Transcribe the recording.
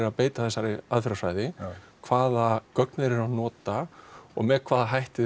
að beita þessari aðferðarfræði hvaða gögn væri að nota og með hvaða hætti